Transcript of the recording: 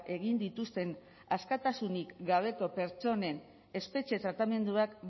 egin dituzten askatasunik gabeko pertsonen espetxe tratamenduak